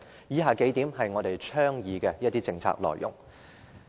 以下是我們倡議的政策內容。